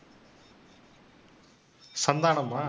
சந்தானமா?